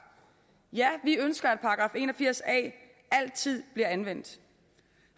ja vi ønsker at § en og firs a altid bliver anvendt